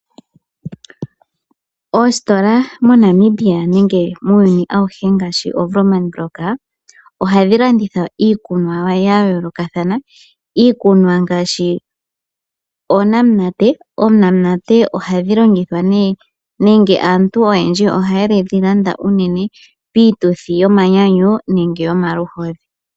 Oositola moNamibia nenge muuyuni awuhe ngaashi oWoerman block, ohadhi landitha iikunwa ya yoolokathana, iikunwa ngaashi oonamunate. Oonamunate aantu oyendji oha ye dhi landa unene piituthi yomanyanyu nenge yomaluhodhi.